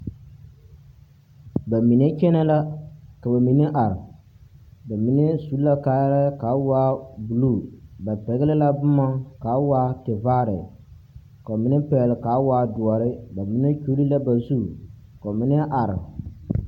Ba mine kyԑnԑ la ka ba mine are. ba mine su la kaayԑrԑԑ ka a waa buluu. Ba pԑgele la boma ka a waa tevaare, ka ba mine pԑgele ka a waa dõͻre. ba mine kyuli la ba zu ka ba mine are.